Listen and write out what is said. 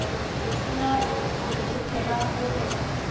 se na bonnete ba hore